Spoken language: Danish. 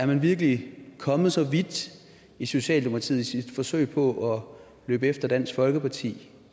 man virkelig kommet så vidt i socialdemokratiet i sit forsøg på at løbe efter dansk folkeparti